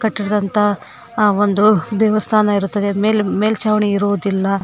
ಕಟ್ಟಿರ್ದಂತ ಆ ಒಂದು ದೇವಸ್ಥಾನ ಇರುತ್ತದೆ ಮೇಲ್ ಮೇಲ್ಚಾವಣಿ ಇರುವುದಿಲ್ಲ.